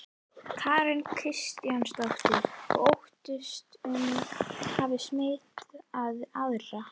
Karen Kjartansdóttir: Og óttastu að hún hafi smitað aðra?